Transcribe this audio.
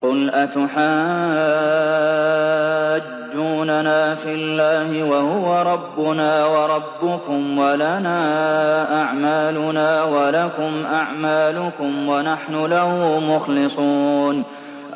قُلْ أَتُحَاجُّونَنَا فِي اللَّهِ وَهُوَ رَبُّنَا وَرَبُّكُمْ وَلَنَا أَعْمَالُنَا وَلَكُمْ أَعْمَالُكُمْ وَنَحْنُ لَهُ مُخْلِصُونَ